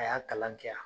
A y'a kalan kɛ